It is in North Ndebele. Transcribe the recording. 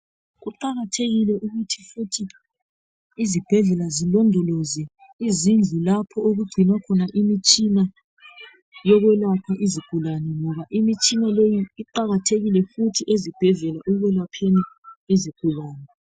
Kuqakathekile ukuthi futhi izibhedlela zilondoloze izindlu lapho kugcinwa khona imitshina yokwelapha izigulane ngoba imitshina leyi iqakathekile futhi ezibhedlela ekwelapheni izigulane